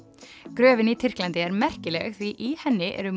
gröfin í Tyrklandi er merkileg því í henni eru